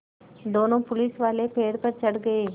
दोनों पुलिसवाले पेड़ पर चढ़ गए